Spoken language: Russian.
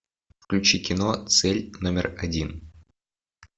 включи кино цель номер один